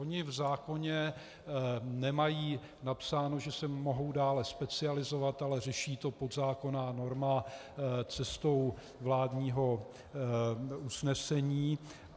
Ony v zákoně nemají napsáno, že se mohou dále specializovat, ale řeší to podzákonná norma cestou vládního usnesení.